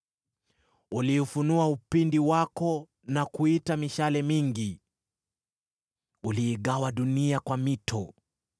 Uliufunua upinde wako na kuita mishale mingi. Uliigawa dunia kwa mito;